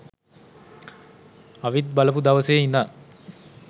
අවිත් බලපු දවසේ ඉදන්